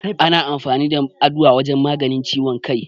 Ana amfani da Aduwa wajen maganin ciwon kai.